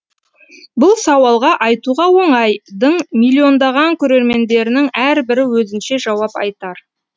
бұл сауалға айтуға оңай дың миллиондаған көрермендерінің әрбірі өзінше жауап айтар